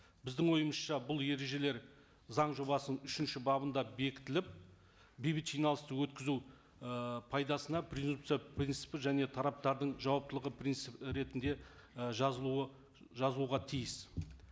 біздің ойымызша бұл ережелер заң жобасының үшінші бабында бекітіліп бейбіт жиналысты өткізу ы пайдасына презумпция принципі және тараптардың жауаптылығы принцип і ретінде і жазылуы жазуға тиіс